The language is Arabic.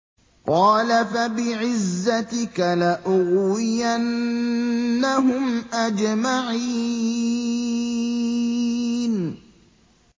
قَالَ فَبِعِزَّتِكَ لَأُغْوِيَنَّهُمْ أَجْمَعِينَ